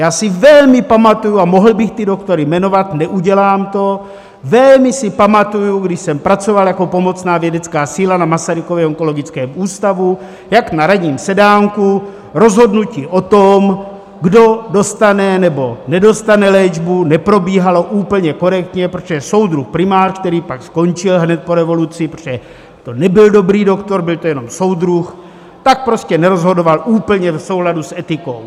Já si velmi pamatuji - a mohl bych ty doktory jmenovat, neudělám to - velmi si pamatuji, když jsem pracoval jako pomocná vědecká síla na Masarykově onkologickém ústavu, jak na ranním sedánku rozhodnutí o tom, kdo dostane, nebo nedostane léčbu neprobíhalo úplně korektně, protože soudruh primář, který pak skončil hned po revoluci, protože to nebyl dobrý doktor, byl to jenom soudruh, tak prostě nerozhodoval úplně v souladu s etikou.